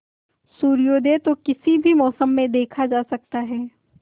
सूर्योदय तो किसी भी मौसम में देखा जा सकता है